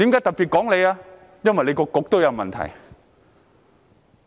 因為他的政策局也有問題。